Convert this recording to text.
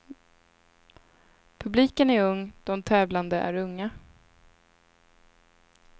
Publiken är ung, de tävlande är unga.